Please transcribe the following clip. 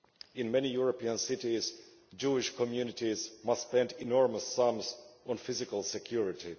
In many European cities, Jewish communities must spend enormous sums on physical security.